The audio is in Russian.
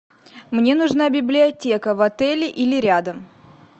мне нужна библиотека в отеле или рядом